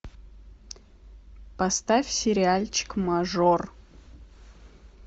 поставь сериальчик мажор